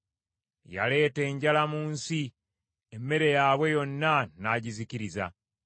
Yaleeta enjala mu nsi, emmere yaabwe yonna n’agizikiriza.